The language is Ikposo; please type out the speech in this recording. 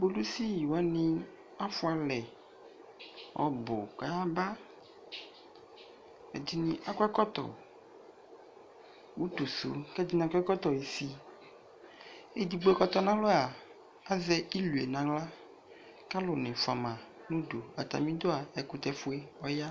Kpolisi wane afua alɛ ɔbu ka yaba Ɛdene akɔ ɛkɔtɔ utuso, kɛ ɛsene akɔ ɛlɔɔtɔ isi Edigbo kɔtɔ nalɔa, azɛ ilue nahla ka alu ne fua ma nudu Atame dua, ɛkutɛfue ɔya